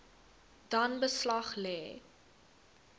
dan beslag lê